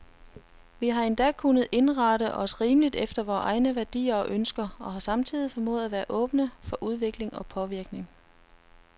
Vi har endda kunnet indrette os rimeligt efter vore egne værdier og ønsker, og har samtidig formået at være åbne for udvikling og påvirkning.